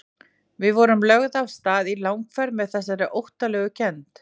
Við vorum lögð af stað í langferð með þessari óttalegu kennd.